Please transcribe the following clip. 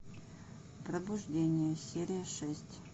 пробуждение серия шесть